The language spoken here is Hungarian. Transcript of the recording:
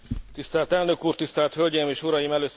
Tisztelt elnök úr, tisztelt hölgyeim és uraim!